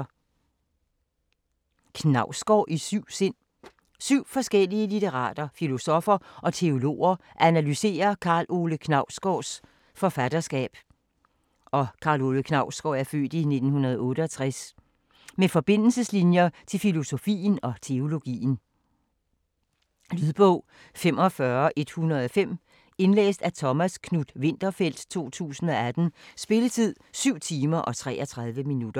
Knausgård i syv sind Syv forskellige litterater, filosoffer og teologer analyserer Karl Ove Knausgårds (f. 1968) forfatterskab med forbindelseslinjer til filosofien og teologien. Lydbog 45105 Indlæst af Thomas Knuth-Winterfeldt, 2018. Spilletid: 7 timer, 33 minutter.